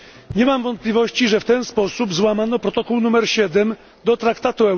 Nie mam wątpliwości, że w ten sposób złamano Protokół nr 7 do Traktatu.